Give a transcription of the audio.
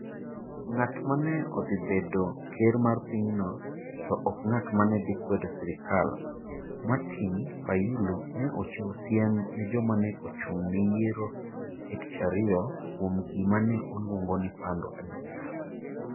Ng'at ma ne dhi bedo ker mar pinyno to ok ng'at ma ne dhi kwedo sirkal Martin Fayulu ne ochiwo siem ne joma ne ochung ' ne yiero e Tich Ariyo kuom gima ne oluongo ni "pando adiera. "